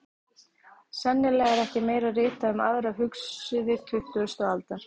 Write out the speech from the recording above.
Sennilega er ekki meira ritað um aðra hugsuði tuttugustu aldar.